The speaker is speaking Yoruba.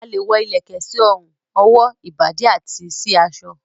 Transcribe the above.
A lẹ̀ wọ ilẹ̀kẹ̀ sí orùn, ọwó, ìbàdí àti sí aṣọ